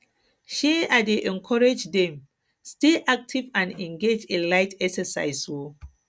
um i dey encourage dem encourage dem to um stay active and engage in light exercises um